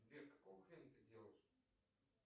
сбер какого хрена ты делаешь